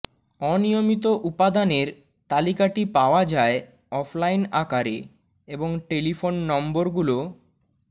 অনিয়মিত উপাদানের তালিকাটি পাওয়া যায় অফলাইন আকারে এবং টেলিফোন নম্বর গুলো